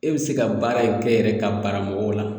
E be se ka baara in kɛ yɛrɛ ka bara mɔgɔw la